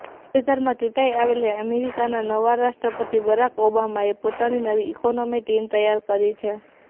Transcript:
તાજેતરમાં ચૂંટાઇ આવેલા અમેરિકાના નવા રાષ્ટ્રપતિ બરાક ઓબામાએ પોતાની નવી ઇકોનોમી ટીમ તૈયાર કરી છે